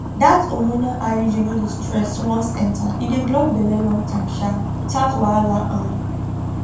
that hormonal iud no dey stress once enter e dey block belle long time um without wahala um